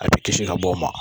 A bi kisi ka bɔ o ma.